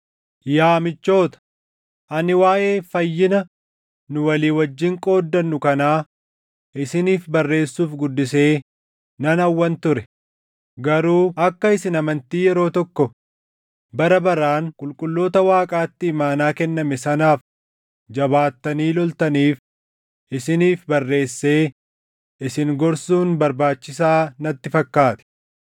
Yaa michoota, ani waaʼee fayyina nu walii wajjin qooddannu kanaa isiniif barreessuuf guddisee nan hawwan ture; garuu akka isin amantii yeroo tokko bara baraan qulqulloota Waaqaatti imaanaa kenname sanaaf jabaattanii loltaniif isiniif barreessee isin gorsuun barbaachisaa natti fakkaate.